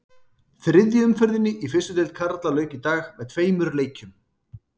Þriðju umferðinni í fyrstu deild karla lauk í dag með tveimur leikjum.